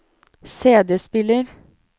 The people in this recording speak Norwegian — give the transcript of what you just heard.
CD-spiller